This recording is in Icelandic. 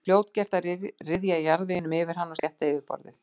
Það var fljótgert að ryðja jarðveginum yfir hann og slétta yfirborðið.